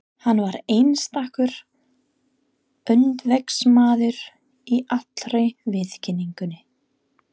Hann var einstakur öndvegismaður í allri viðkynningu.